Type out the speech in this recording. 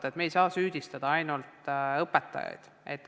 Nii et me ei saa süüdistada ainult õpetajaid.